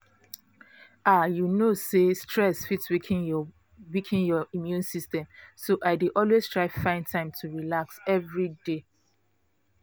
ah you know say stress fit weaken your weaken your immune system so i dey always try find time to relax every day